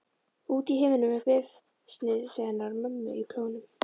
Út í himininn með bréfsnifsið hennar mömmu í klónum.